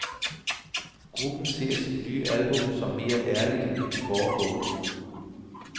Gruppen ser sit nye album som mere ærligt end de foregående.